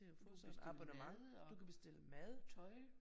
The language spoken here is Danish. Du kan bestille mad og